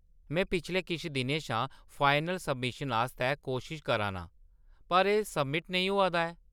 में पिछले किश दिनें शा फाइनल सब्मिशन आस्तै कोशश करा नां, पर एह्‌‌ सब्मिट नेईं होआ दा ऐ।